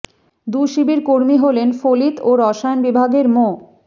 দু শিবির কর্মী হলেন ফলিত ও রসায়ন বিভাগের মো